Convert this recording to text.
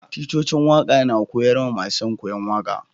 Ticcocin waka na koyars ma masun koyo waka.